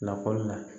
Lakɔli la